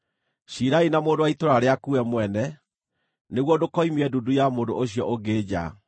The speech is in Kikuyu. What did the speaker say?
Ciirai na mũndũ wa itũũra rĩaku we mwene, nĩguo ndũkoimie ndundu ya mũndũ ũcio ũngĩ nja,